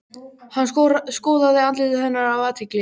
Hann skoðaði andlit hennar af athygli.